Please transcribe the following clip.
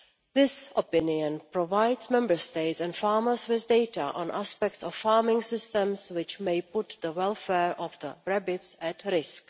This opinion provides Member States and farmers with data on aspects of farming systems which may put the welfare of the rabbits at risk.